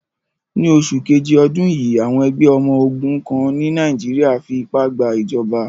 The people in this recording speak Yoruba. Ní oṣù keje ọdún yìí, àwọn ẹgbẹ ọmọ ogun kan ní Niger fí ipá gba ìjọba.